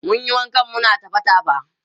mun Yi waƙan muna tafa tafa